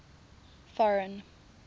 foreign